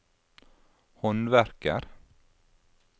håndverker